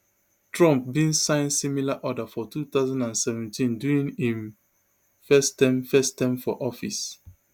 trump bin sign similar order for two thousand and seventeen during im first term first term for office